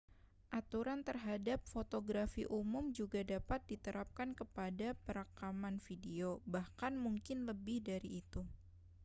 aturan terhadap fotografi umum juga dapat diterapkan kepada perekaman video bahkan mungkin lebih dari itu